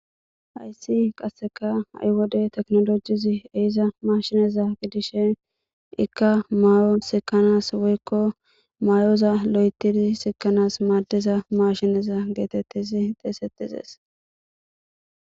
hayssi qasseka ha7i wodey teknolojizi eiza mashineza gidishe ikka mayo sikanas woykko may7oza lo7etiri sikanas maadiza mashineza geetettizi xeesetizes